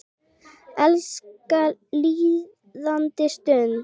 Elska líðandi stund.